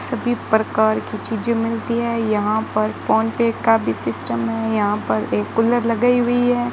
सभी प्रकार की चीजें मिलती हैं यहां पर फोन पे का भी सिस्टम है यहां पर एक कूलर लगाई हुई है।